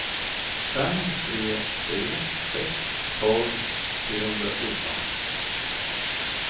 fem tre tre sex tolv trehundrafjorton